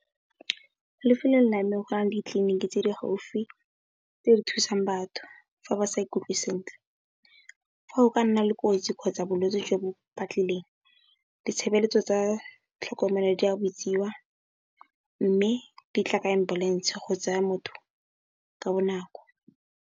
Mo lefelong la me, go na le ditliliniki tse di gaufi tse di thusang batho fa ba sa ikutlwe sentle. Fa o ka nna le kotsi kgotsa bolwetsi jo bo patlelong, ditshebeletso tsa tlhokomelo di a bitswa mme, di tla ka ambulense go tsaya motho ka bonako.